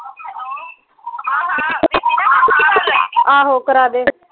ਆਹੋ ਕਰਾਦੇ